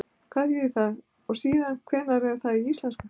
Hvað þýðir það og síðan hvenær er það í íslensku?